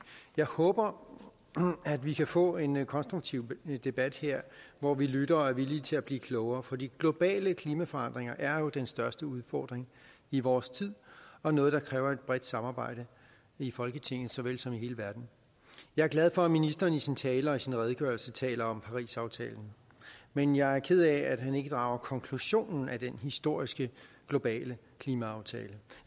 jeg håber at vi kan få en konstruktiv debat her hvor vi lytter og er villige til at blive klogere for de globale klimaforandringer er jo den største udfordring i vores tid og noget der kræver et bredt samarbejde i folketinget såvel som i hele verden jeg er glad for at ministeren i sin tale og sin redegørelse taler om parisaftalen men jeg er ked af at han ikke drager konklusionen af den historiske globale klimaaftale